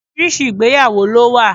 Oríṣiríṣi ìgbéyàwó lo wa